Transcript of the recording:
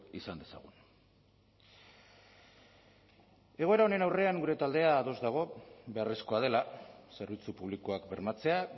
izan dezagun egoera honen aurrean gure taldea ados dago beharrezkoa dela zerbitzu publikoak bermatzea